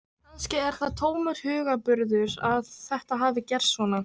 Kannski er það tómur hugarburður að þetta hafi gerst svona.